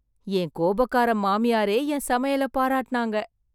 என் கோபக்கார மாமியாரே என் சமையலை பாராட்டுனாங்க.